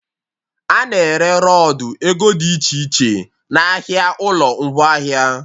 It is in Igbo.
A na-ere rọdụ ego dị iche iche n'ahịa ụlọ ngwaahịa